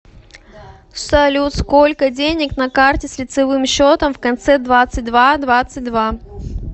салют сколько денег на карте с лицевым счетом в конце двадцать два двадцать два